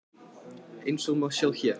Eins og má sjá hér.